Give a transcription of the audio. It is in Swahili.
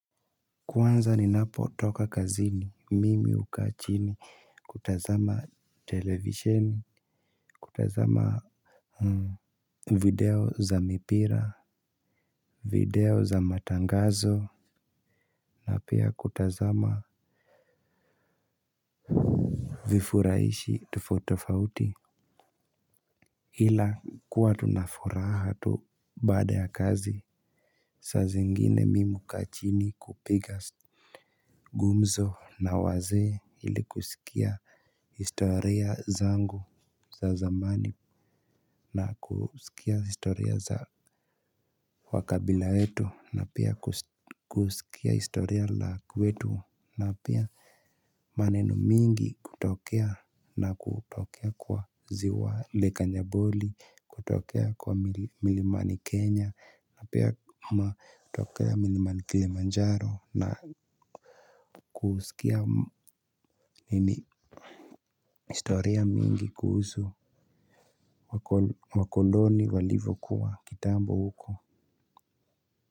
Kwanza ninapotoka kazini mimi huu kaa chini. Kutazama televisheni, Kutazama Video za mipira, video za matangazo, na pia kutazama vifurahishi tofauti tofauti ila kuwa tu na furaha tu baada ya kazi. Saa zingine mimi hukaa chini kupiga gumzo na wazee ili kusikia historia zangu za zamani na kusikia historia za wakabila wetu na pia kusikia historia la kwetu na pia maneno mingi kutokea na kutokea kwa ziwa leka njaboli kutokea kwa milimani kenya na pia matokea milimani kilimanjaro na kusikia historia mingi kuhusu wakoloni walivyokuwa kitambo huko.